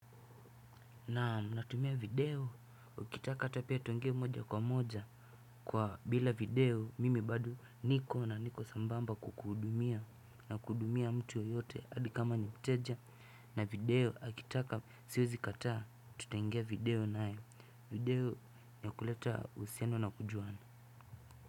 Naam natumia video ukitaka hata pia tuongee moja kwa moja kwa bila video mimi bado na niko na niko sambamba kukuhudumia na kuhudumia mtu yoyote adi kama ni mteja na video akitaka siwezi kataa tutaingia video nayo video na kuleta uhusiano na kujuana.